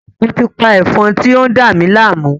Mo ti pa Ẹ̀fọn ti o n dami láàmú